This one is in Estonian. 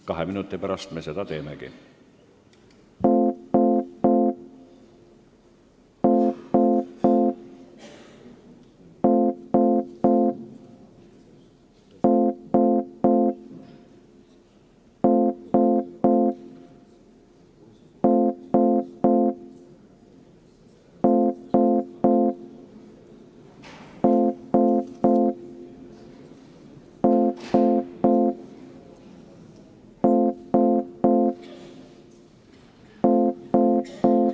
Kahe minuti pärast me seda teemegi.